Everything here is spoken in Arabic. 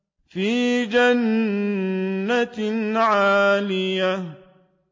فِي جَنَّةٍ عَالِيَةٍ